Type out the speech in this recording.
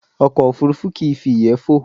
Ọkọ̀ òfurufú kìí fi ìyẹ́ fò